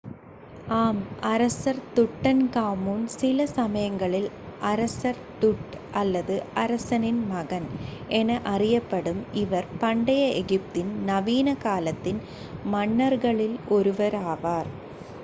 "ஆம்! அரசர் துட்டன்காமூன் சிலசமயங்களில் "அரசர் tut" அல்லது "அரசனின் மகன்" என அறியப்படும் இவர் பண்டைய எகிப்தின் நவீன காலத்தின் மன்னர்களில் ஒருவராவார்.